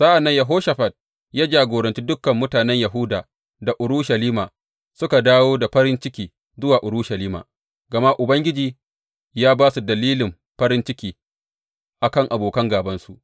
Sa’an nan Yehoshafat ya jagoranci dukan mutanen Yahuda da Urushalima suka dawo da farin ciki zuwa Urushalima, gama Ubangiji ya ba su dalilin farin ciki a kan abokan gābansu.